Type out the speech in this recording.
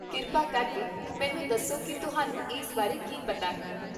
ਕਿਰਪਾ ਕਰਕੇ ਮੈਨੂੰ ਦੱਸੋ ਕਿ ਤੁਹਾਨੂੰ ਇਸ ਬਾਰੇ ਕੀ ਪਤਾ ਹੈ?